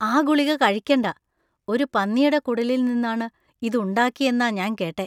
ആ ഗുളിക കഴിക്കണ്ട. ഒരു പന്നിയുടെ കുടലിൽ നിന്നാണ് ഇത് ഉണ്ടാക്കിയെന്ന ഞാൻ കേട്ടേ.